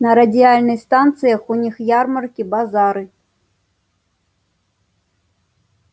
на радиальных станциях у них ярмарки базары